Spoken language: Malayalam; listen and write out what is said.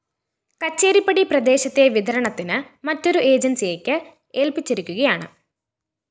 കച്ചേരിപ്പടി പ്രദേശത്തെ വിതരണത്തിന് മറ്റൊരു ഏജന്‍സിയെക്ക് ഏല്‍പ്പിച്ചിരിക്കുകയാണ്